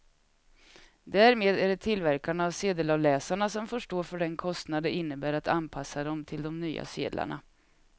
Därmed är det tillverkarna av sedelavläsarna som får stå för den kostnad det innebär att anpassa dem till de nya sedlarna.